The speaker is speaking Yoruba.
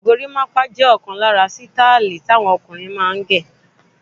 Gorimapa jẹ ọkan lára sítáílì tí àwọn ọkùnrin máa ń ṣe.